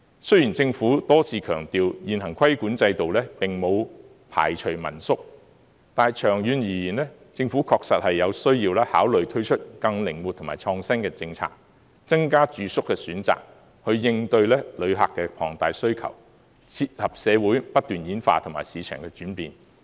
雖然政府多次強調現行規管制度並無排除民宿，但長遠而言，政府確實有需要考慮推出更靈活及創新的政策，增加住宿的選擇，以應對旅客的龐大需求，切合社會不斷演化及市場的轉變。